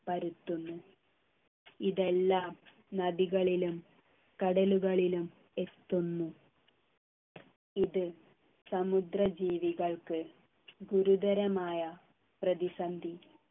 പരത്തുന്നു ഇതെല്ലാം നദികളിലും കടലുകളിലും എത്തുന്നു ഇത് സമുദ്ര ജീവികൾക്ക് ഗുരുതരമായ പ്രതിസന്ധി